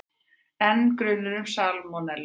Enn grunur um salmonellu